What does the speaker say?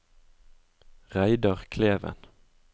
Reidar Kleven